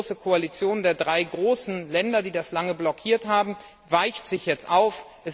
Diese große Koalition der drei großen Länder, die das lange blockiert haben, weicht sich jetzt auf.